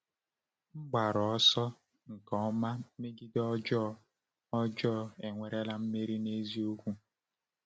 N’mgbaru ọsọ nke ọma megide ọjọọ, ọjọọ ewerela mmeri n’eziokwu?